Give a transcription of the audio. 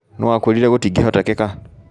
No wakwĩrire gũĩtingĩhotekeka?